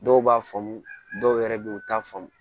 Dɔw b'a faamu dɔw yɛrɛ bɛ yen u t'a faamu